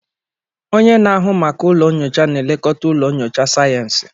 Onye na-ahụ maka ụlọ nyocha na-elekọta ụlọ nyocha sayensị.